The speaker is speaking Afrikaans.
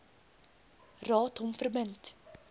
raad hom verbind